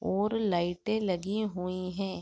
और लाइटे लगी हुई हैं।